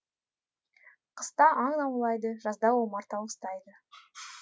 қыста аң аулайды жазда омарта ұстайды